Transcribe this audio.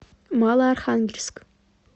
малоархангельск